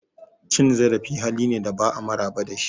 Cin zarafi hali ne da ba'a maraba da shi.